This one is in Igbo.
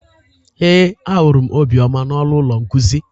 Ee, ahụrụ m Obioma na ọnụ ụlọ nkuzi